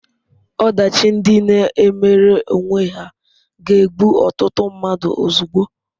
Ọdachi ndị na-emere onwe ha ga-egbu ọtụtụ mmadụ ozugbo.